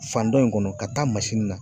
Fan dɔ in kɔnɔ ka taa na.